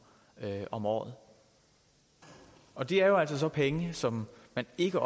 om året og det er jo så penge som man ikke